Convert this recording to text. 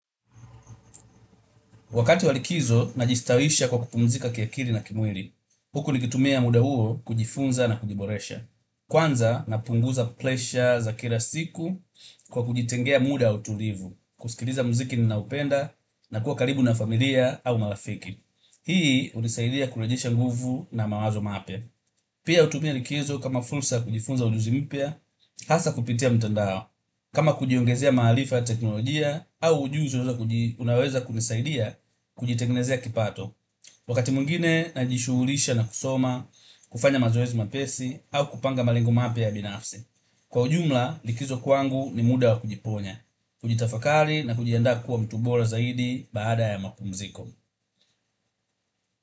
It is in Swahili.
Wakati wa likizo najistawisha kwa kupumzika kiakili na kimwili, huku nikitumia muda huo kujifunza na kujiboresha. Kwanza, napunguza presha za kila siku kwa kujitengea muda wa utulivu, kusikiliza mziki ninaupenda na kuwa karibu na familia au marafiki. Hii hunisaidia kulejesha nguvu na mawazo mapya. Pia hutumia likizo kama fursa ya kujifunza ujuzi mpya, hasa kupitia mtandao. Kama kujiongezea maalifa ya teknolojia au ujuzi unaoweza kunisaidia kujitengenezea kipato. Wakati mwingine najishughulisha na kusoma, kufanya mazoezi mepesi au kupanga malengo mapya ya binafsi. Kwa ujumla likizo kwangu ni muda wa kujiponya, kujitafakali na kujianda kuwa mtu bora zaidi baada ya mapumziko.